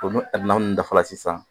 N'o naani in dafara sisan